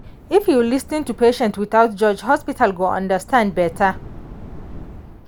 if you lis ten to patient without judge hospital go understand better.